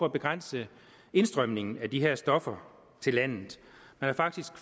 at begrænse indstrømningen af de her stoffer i landet man har faktisk